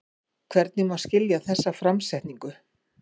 Hvernig má skilja þessa framsetningu?